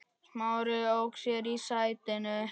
Smári ók sér í sætinu.